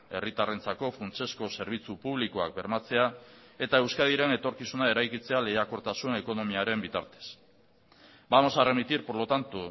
herritarrentzako funtsezko zerbitzu publikoak bermatzea eta euskadiren etorkizuna eraikitzea lehiakortasun ekonomiaren bitartez vamos a remitir por lo tanto